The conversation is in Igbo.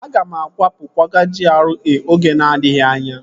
Aga m akwapụ kwaga GRA oge na-adịghị anya